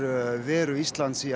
veru Íslands í